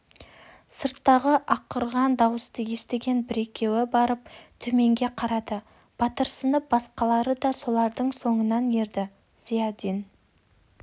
сырттағы арқыраған дауысты естіген бір-екеуі барып төменге қарады батырсынған басқалары да солардың соңынан ерді зиядин